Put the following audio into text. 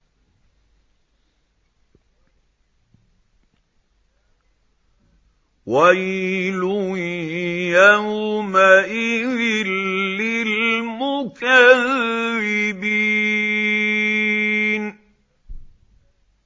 وَيْلٌ يَوْمَئِذٍ لِّلْمُكَذِّبِينَ